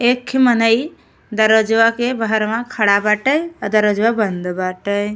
एक ठे मनई दरवाज़वा के बहरवा खड़ा बाटे आ दरवाजवा बंद बाटे।